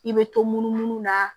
I bɛ to munumunu na